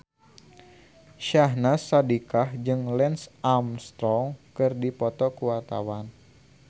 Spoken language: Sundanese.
Syahnaz Sadiqah jeung Lance Armstrong keur dipoto ku wartawan